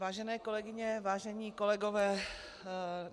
Vážené kolegyně, vážení kolegové.